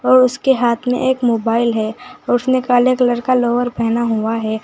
और उसके हाथ में एक मोबाइल है और उसने काले कलर का लोअर पहना हुआ है।